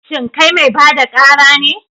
Shin kai mai ba da ƙara ne?